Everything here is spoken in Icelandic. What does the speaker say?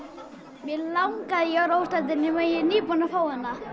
mig langaði í Orra óstöðvandi en ég er nýbúinn að fá hana